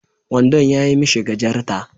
Wandon yayi mishi gajarta